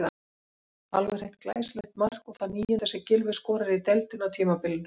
Alveg hreint glæsilegt mark og það níunda sem Gylfi skorar í deildinni á tímabilinu.